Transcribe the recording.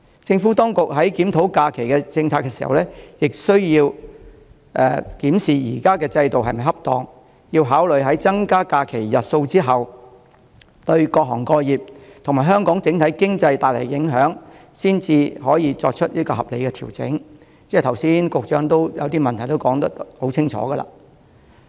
政府當局在檢討假期政策時，亦須檢視現行制度是否恰當，考慮在增加假期日數後，對各行各業和香港整體經濟帶來的影響，才能作出合理的調整，而局長剛才亦把一些問題說得很清楚。